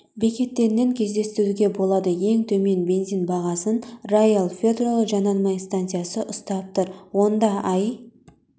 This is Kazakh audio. бекеттерінен кездестіруге болады ең төмен бензин бағасын роял петрол жанармай станциясы ұстап тұр онда аи